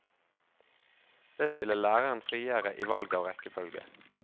Det stiller læreren friere i valg av rekkefølge.